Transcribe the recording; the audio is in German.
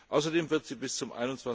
Außerdem wird sie bis zum